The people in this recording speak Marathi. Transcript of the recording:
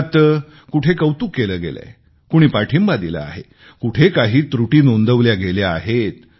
त्यात कुठे कौतुक केलं गेलंय कुणी पाठिंबा दिला आहे कुठे काही त्रुटी नोंदवल्या आहेत